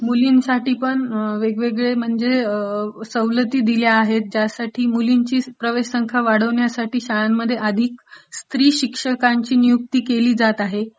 मुलांसाठीपण अम्म...वेगवेगळे म्हणजे सवलती दिल्या आहेत, ज्यासाठी मुलींची प्रवेश संख्या वाढविण्यासाठी शाळांमध्ये आधी स्त्रीशिक्षकांची नियुक्ती केली जात आहे.